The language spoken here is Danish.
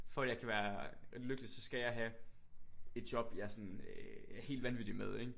For at jeg kan være lykkelig så skal jeg have et job jeg er sådan øh helt vanvittig med ikke?